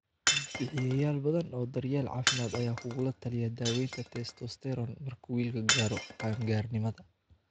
Bixiyeyaal badan oo daryeel caafimaad ayaa kugula taliya daaweynta testosterone marka wiilku gaaro qaan-gaarnimada.